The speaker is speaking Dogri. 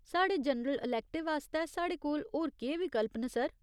साढ़े जनरल अलैक्टिव आस्तै साढ़े कोल होर केह् विकल्प न सर ?